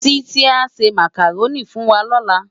Titi á sè Mákáróni fúnwá lòlá